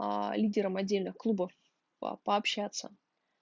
аа лидером отдельно клуба пообщаться